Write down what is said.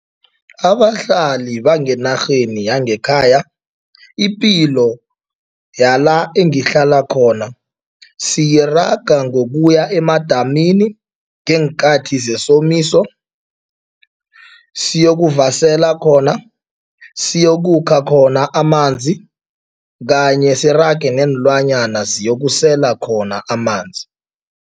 Abahlali bangenarheni yangekhaya, ipilo yala engihlala khona siyiraga ngokuya emadamini ngeenkathi zesomiso, siyokuvasela khona, siyokukha khona amanzi kanye sirage neenlwanyana ziyokusela khona amanzi.